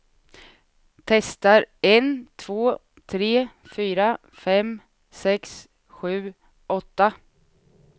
Testar en två tre fyra fem sex sju åtta.